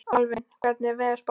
Alvin, hvernig er veðurspáin?